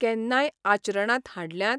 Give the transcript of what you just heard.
केन्नाय आचरणांत हाडल्यांत?